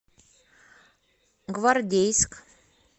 гвардейск